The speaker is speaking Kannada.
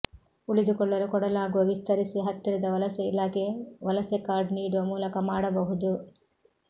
ಉಳಿದುಕೊಳ್ಳಲು ಕೊಡಲಾಗುವ ವಿಸ್ತರಿಸಿ ಹತ್ತಿರದ ವಲಸೆ ಇಲಾಖೆ ವಲಸೆ ಕಾರ್ಡ್ ನೀಡುವ ಮೂಲಕ ಮಾಡಬಹುದು